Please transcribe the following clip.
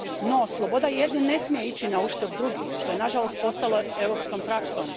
No, sloboda jednih ne smije ići nauštrb drugih, što je nažalost postalo europskom praksom.